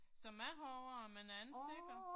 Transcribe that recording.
Som jeg husker det, men jeg er ikke sikker